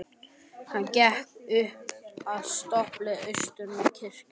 Hann gekk upp að stöpli og austur með kirkjunni.